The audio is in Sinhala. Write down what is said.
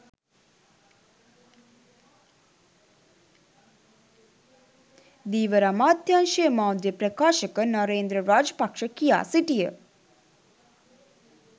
ධීවර අමාත්‍යංශයේ මාධ්‍ය ප්‍රකාශක නරේන්ද්‍ර රාජපක්ෂ කියා සිටිය